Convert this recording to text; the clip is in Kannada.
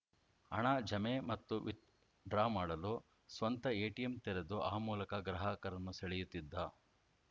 ಹಣ ಜಮೆ ಮತ್ತು ವಿತ್‌ ಡ್ರಾ ಮಾಡಲು ಸ್ವಂತ ಎಟಿಎಂ ತೆರೆದು ಆ ಮೂಲಕ ಗ್ರಾಹಕರನ್ನು ಸೆಳೆಯುತ್ತಿದ್ದ